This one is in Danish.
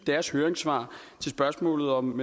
deres høringssvar til spørgsmålet om